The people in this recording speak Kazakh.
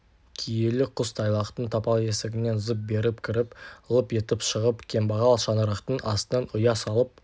киелі құс тайлақтың тапал есігінен зып беріп кіріп лып етіп шығып кембағал шаңырақтың астынан ұя салып